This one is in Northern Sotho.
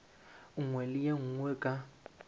nngwe le ye nngwe ka